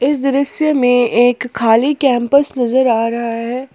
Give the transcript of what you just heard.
इस दृश्य में एक खाली कैंपस नजर आ रहा है।